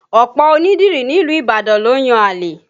Ọ̀pọ̀ onídìrí nílùú Ibadan ló ń yan àlè